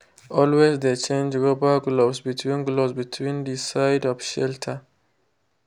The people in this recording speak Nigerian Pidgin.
always de change rubber gloves between gloves between de side of shelter.